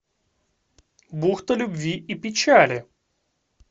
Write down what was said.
бухта любви и печали